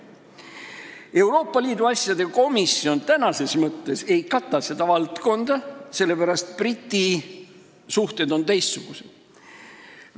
Euroopa Liidu asjade komisjon tänases mõttes ei kata seda valdkonda, sest Briti suhted on teistsugused.